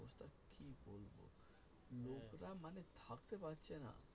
ভাবতে পারছেনা